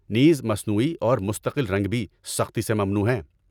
نیز، مصنوعی اور مستقل رنگ بھی سختی سے ممنوع ہیں!